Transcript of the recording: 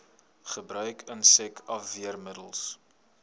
gebruik insek afweermiddels